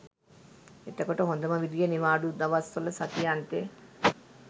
එතකොට හොඳම විදිය නිවාඩු දවස්වල සති අන්තෙ